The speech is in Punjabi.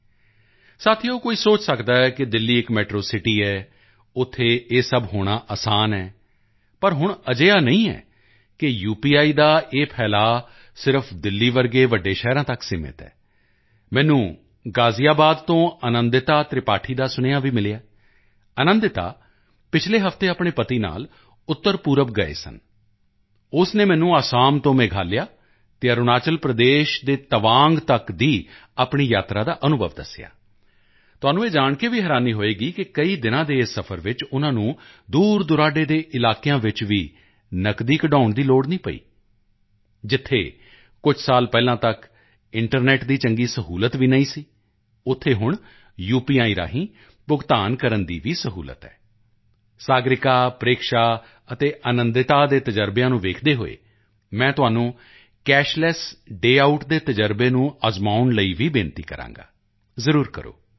ਦੋਸਤੋ ਕੋਈ ਸੋਚ ਸਕਦਾ ਹੈ ਕਿ ਦਿੱਲੀ ਇੱਕ ਮੈਟਰੋ ਸਿਟੀ ਹੈ ਉੱਥੇ ਇਹ ਸਭ ਹੋਣਾ ਅਸਾਨ ਹੈ ਪਰ ਹੁਣ ਅਜਿਹਾ ਨਹੀਂ ਕਿ ਯੂਪੀਆਈ ਦਾ ਇਹ ਫੈਲਾਅ ਸਿਰਫ਼ ਦਿੱਲੀ ਜਿਹੇ ਵੱਡੇ ਸ਼ਹਿਰਾਂ ਤੱਕ ਸੀਮਿਤ ਹੈ ਮੈਨੂੰ ਗ਼ਾਜ਼ੀਆਬਾਦ ਤੋਂ ਆਨੰਦਿਤਾ ਤ੍ਰਿਪਾਠੀ ਦਾ ਸੁਨੇਹਾ ਵੀ ਮਿਲਿਆ ਆਨੰਦਿਤਾ ਪਿਛਲੇ ਹਫ਼ਤੇ ਆਪਣੇ ਪਤੀ ਨਾਲ ਉੱਤਰਪੂਰਬ ਗਈ ਸੀ ਉਸ ਨੇ ਮੈਨੂੰ ਅਸਾਮ ਤੋਂ ਮੇਘਾਲਿਆ ਅਤੇ ਅਰੁਣਾਚਲ ਪ੍ਰਦੇਸ਼ ਦੇ ਤਵਾਂਗ ਤੱਕ ਦੀ ਆਪਣੀ ਯਾਤਰਾ ਦਾ ਅਨੁਭਵ ਦੱਸਿਆ ਤੁਹਾਨੂੰ ਇਹ ਜਾਣ ਕੇ ਹੈਰਾਨੀ ਹੋਵੇਗੀ ਕਿ ਕਈ ਦਿਨਾਂ ਦੇ ਇਸ ਸਫ਼ਰ ਵਿੱਚ ਉਨ੍ਹਾਂ ਨੂੰ ਦੂਰਦੁਰਾਡੇ ਦੇ ਇਲਾਕਿਆਂ ਵਿੱਚ ਵੀ ਨਕਦੀ ਕਢਵਾਉਣ ਦੀ ਲੋੜ ਨਹੀਂ ਪਈ ਜਿੱਥੇ ਕੁਝ ਸਾਲ ਪਹਿਲਾਂ ਤੱਕ ਇੰਟਰਨੈੱਟ ਦੀ ਚੰਗੀ ਸਹੂਲਤ ਵੀ ਨਹੀਂ ਸੀ ਉੱਥੇ ਹੁਣ ਯੂਪੀਆਈ ਰਾਹੀਂ ਭੁਗਤਾਨ ਕਰਨ ਦੀ ਵੀ ਸਹੂਲਤ ਹੈ ਸਾਗਰਿਕਾ ਪ੍ਰੇਕਸ਼ਾ ਅਤੇ ਆਨੰਦਿਤਾ ਦੇ ਅਨੁਭਵਾਂ ਨੂੰ ਦੇਖਦੇ ਹੋਏ ਮੈਂ ਤੁਹਾਨੂੰ ਕੈਸ਼ਲੈੱਸ ਡੇ ਆਊਟ ਦੇ ਤਜ਼ਰਬੇ ਨੂੰ ਅਜ਼ਮਾਉਣ ਲਈ ਵੀ ਬੇਨਤੀ ਕਰਾਂਗਾ ਜ਼ਰੂਰ ਕਰੋ